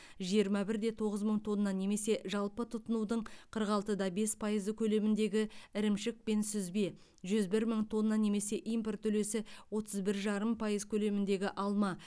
жиырма бір де тоғыз мың тонна немесе жалпы тұтынудың қырық алты да бес пайызы көлеміндегі ірімшік пен сүзбе жүз бір мың тонна немесе импорт үлесі отыз бір жарым пайыз көлеміндегі алма